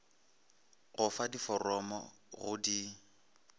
go fa diforomo go di